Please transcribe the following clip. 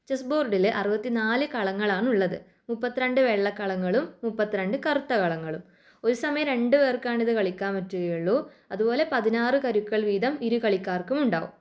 Chess ബോർഡില് അറുപത്തി നാല് കളങ്ങളാണ് ഉള്ളത്. മുപ്പത്തി രണ്ട്‌ വെള്ള കളങ്ങളും മുപ്പത്തി രണ്ട്‌ കറുത്ത കളങ്ങളും. ഒരു സമയം രണ്ടു പേർക്കാണിത് കളിക്കാൻ പറ്റുകയുള്ളൂ അതുപോലെ പതിനാറ് കരുക്കൾ വീതം ഇരു കളിക്കാർക്കും ഉണ്ടാവും.